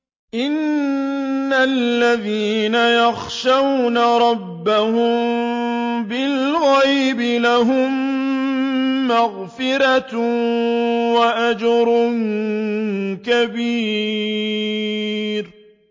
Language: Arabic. إِنَّ الَّذِينَ يَخْشَوْنَ رَبَّهُم بِالْغَيْبِ لَهُم مَّغْفِرَةٌ وَأَجْرٌ كَبِيرٌ